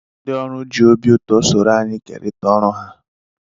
Ndị ọrụ ji obi ụtọ soro anyị kerịta ọrụ ha.